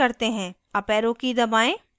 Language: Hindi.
अप arrow की दबाएं